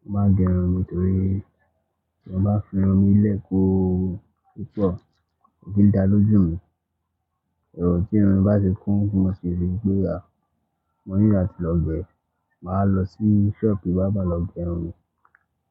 mo máa n gẹ irun mi torí tí mọ́ bá fi irun mi lẹ́ ko ko pọ̀, kò kí n dá lójú mi. Ẹ̀rù tí irun mi bá ti kún, mo sì rí pé à, mo ní ìgbà tí lọ gẹ̀ ẹ́, mà á lọ sí sọ́ọ̀bù barber lọ gẹ irun mi.